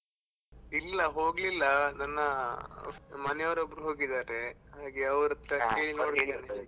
ಇಲ್ಲ ಹೋಗ್ಲಿಲ್ಲ, ನನ್ನ ಮನೆ ಅವ್ರು ಒಬ್ಬ್ರು ಹೋಗಿದ್ದಾರೆ ಹಾಗೆ ಅವ್ರತ್ರ .